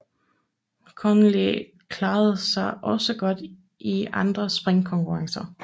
Connolly klarede sig også godt i andre springkonkurrencer